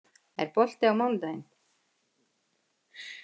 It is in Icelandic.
Kellý, er bolti á mánudaginn?